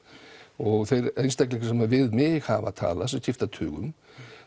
og þeir einstaklingar sem við mig hafa talað sem skipta tugum